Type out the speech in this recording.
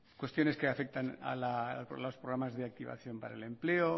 cuestiones que afectan a los programas de activación para el empleo